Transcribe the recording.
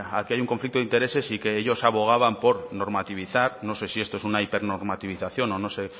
aquí hay un conflicto de intereses y que ellos abogaban por normativizar no sé si esto es una hipernormativización o no sé